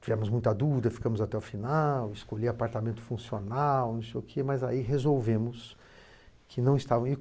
Tivemos muita dúvida, ficamos até o final, escolhi apartamento funcional não sei o que, mas aí resolvemos.